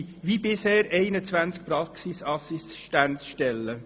Es handelt sich wie bisher um 21 Stellen.